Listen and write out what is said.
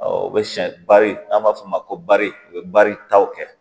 o bɛ sɛ bari n'an b'a fɔ o ma ko bari o bɛ baritaw kɛ